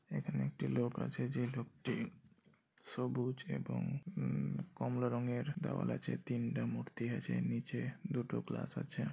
এখানে একটি লোক আছে যে লোকটি সবুজ এবং উমম কমলা রঙের দেয়াল আছে তিনটা মূর্তি আছে নিচে দুটো গ্লাস আছে।